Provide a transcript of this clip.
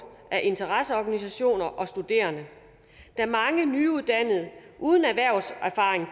af interesseorganisationer og studerende da mange nyuddannede uden erhvervserfaring